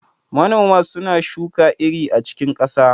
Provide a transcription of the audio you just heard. Manoma suna shuka iri a cikin ƙasa.